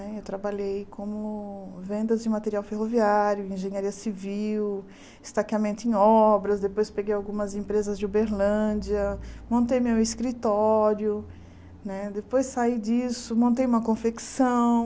Eu trabalhei como vendas de material ferroviário, engenharia civil, estaqueamento em obras, depois peguei algumas empresas de Uberlândia, montei meu escritório né, depois saí disso, montei uma confecção.